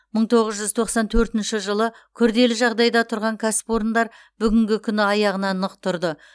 мың тоғыз жүз тоқсан төртінші жылы күрделі жағдайда тұрған кәсіпорындар бүгінгі күні аяғына нық тұрды